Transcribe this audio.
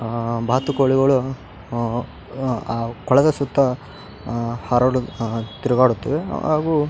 ಆ ಬಾತುಕೋಳಿಗಳು ಅಹ್ ಕೊಳದ ಸುತ್ತ ಅಹ ಹಾರಡು ತಿರುಗಾ ಹಾಗು --